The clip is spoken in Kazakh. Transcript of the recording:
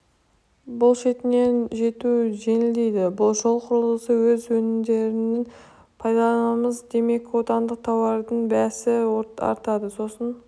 бұ шетіне жету жеңілдейді жол құрылысына өз өнімдерімізді пайдаланамыз демек отандық тауардың бәсі артады сосын